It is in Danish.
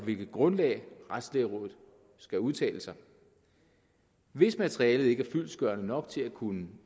hvilket grundlag retslægerådet skal udtale sig hvis materialet ikke er fyldestgørende nok til at kunne